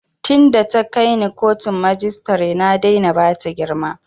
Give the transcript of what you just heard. Tin da ta kai ni kotun majistare na daina bata girma